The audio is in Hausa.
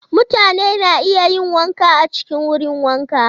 Mutane na iya yin wanka a cikin wurin wanka.